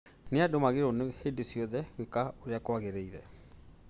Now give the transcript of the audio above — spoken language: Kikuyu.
Andũ magĩrĩirwo hĩndĩ ciothe gwĩka ũrĩa kwagĩrĩire